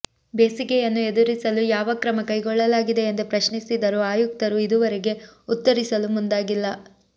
ಬೇಸಿಗೆಯನ್ನು ಎದುರಿಸಲು ಯಾವ ಕ್ರಮಕೈಗೊಳ್ಳಲಾಗಿದೆ ಎಂದು ಪ್ರಶ್ನಿಸಿದರೂ ಆಯುಕ್ತರು ಇದುವರೆಗೆ ಉತ್ತರಿಸಲು ಮುಂದಾಗಿಲ್ಲ